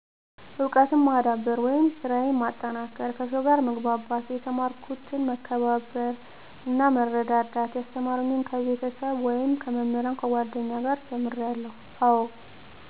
እውቀትን ማዳበር ወይም ሰራየን ማጠናከር ከሰውጋርመግባባት የተማሪኩት በመከባበር እናበመርዳትዳት ያስተማሩኝከቤተስብ ወይም ከመምህራን ከጓደኛ ጋር ተምርአለው አወ